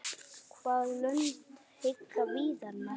Hvaða lönd heilla Viðar mest?